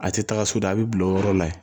A tɛ taga so da a bi bila o yɔrɔ la yen